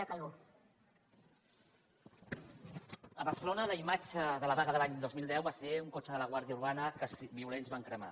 a barcelona la imatge de la vaga de l’any dos mil deu va ser un cotxe de la guàrdia urbana que els violents van cremar